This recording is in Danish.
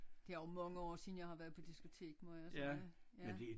Det er også mange år siden jeg har været på diskotek må jeg sige ja